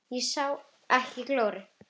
Þá sá ég ekki glóru.